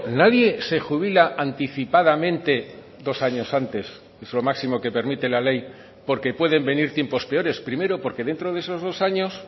nadie se jubila anticipadamente dos años antes es lo máximo que permite la ley porque pueden venir tiempos peores primero porque dentro de esos dos años